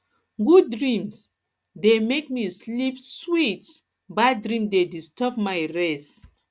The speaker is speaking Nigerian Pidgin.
good dream dey make me sleep sweet bad dream dey disturb my rest